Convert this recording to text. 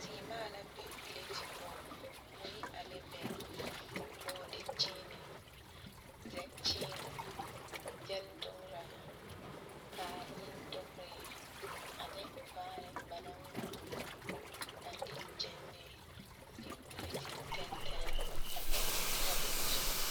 Sèèmaa la be pilate poɔ mui ane bɛŋ bɔɔdi kyiinee zɛkyiine gyil dugraa taali dugree ane vaare ba naŋ ngma ngma a paŋ de gyɛnlee a eŋ pilate tɛntɛrɛɛ poɔ a de dɔgle tabole zu.